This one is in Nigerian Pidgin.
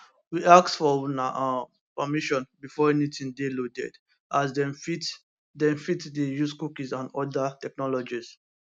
we ask for una um permission before anytin dey loaded as dem fit dem fit dey use cookies and oda technologies